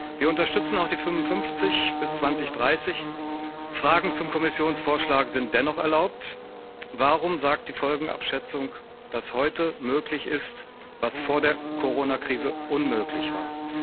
Wir unterstützen auch die 55 bis 2030, Fragen zum Kommissionsvorschlag sind dennoch erlaubt Warum sagt die Folgenabschätzung, dass heute möglich ist, was vor der Coronakrise unmöglich war?